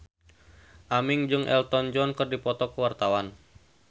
Aming jeung Elton John keur dipoto ku wartawan